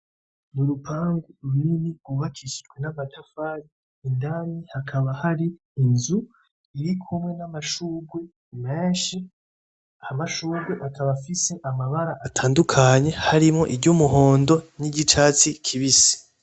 N'urupangu runini gwubakishijwe n'amatafari indani hakaba hari inzu irikumwe n'amashugwe menshi, amashugwe akaba afise amabara atandukanye harimwo iry'umuhondo n'iry'icatsi kibisi.